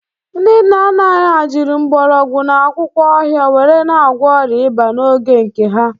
Ndị nna anyị ha jiri mgbọrọgwụ na akwụkwọ ọhịa were na-agwọ ọrịa ịba n'oge nke ha